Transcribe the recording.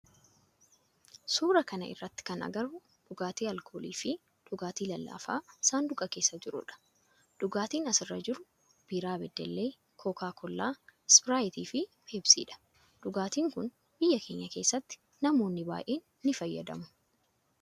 suuraa kana irratti kan agarru dhugaatii alkoolii fi dhugaatii lallaafaa saanduqa keessa jirudha. dhugaatiin as irra jiru biraa badellee kookaa koollaa, ispiraayitii fi peepsiidha. dhugaatin kun biyya keenya keessatti namoonni baayyeen ni fayyadama.